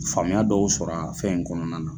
Faamuya dɔw sɔrɔ a fɛn in kɔnɔna na